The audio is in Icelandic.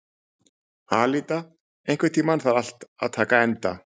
Alída, einhvern tímann þarf allt að taka enda.